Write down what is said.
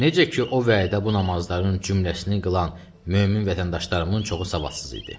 Necə ki o vaxtda bu namazların cümləsini qılan mömin vətəndaşlarımın çoxu savadsız idi.